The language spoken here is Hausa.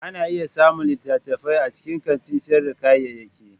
Ana iya samun littattafai a cikin kantin sayar da kayayyaki.